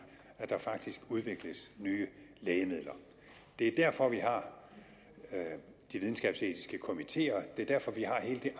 at der faktisk udvikles nye lægemidler det er derfor vi har de videnskabsetiske komiteer det er derfor vi har hele det